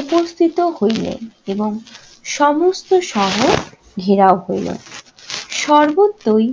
উপস্থিত হইলেন এবং সমস্ত শহর ঘেরাও হইল। সর্বত্রই